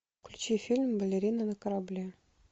включи фильм балерина на корабле